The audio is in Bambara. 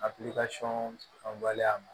A fanba ye a ma